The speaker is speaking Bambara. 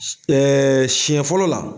S siɲɛ fɔlɔ la